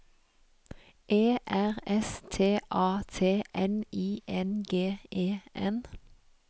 E R S T A T N I N G E N